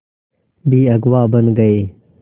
भी अगुवा बन गए